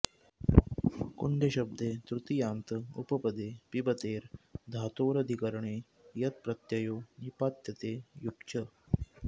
कुण्डशब्दे तृतीयान्त उपपदे पिबतेर् धातोरधिकरणे यत् प्रत्ययो निपात्यते युक् च